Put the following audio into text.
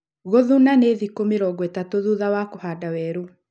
Gũthuna nĩ thĩku mĩrongo ĩtatu thutha wa kũhanda werũ